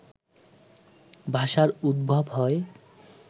ভাষার উদ্ভব হয়